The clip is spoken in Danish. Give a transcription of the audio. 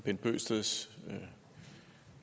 synes